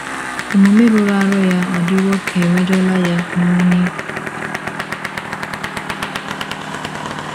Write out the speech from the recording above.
Omume rụrụ arụ ya adịwo ka emejọla yan'oni.